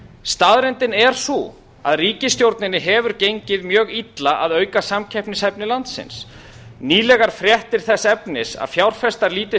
staðreyndin er sú að ríkisstjórninni hefur gengið mjög illa að auka samkeppnishæfni landsins nýlegar fréttir þess efnis að fjárfestar líti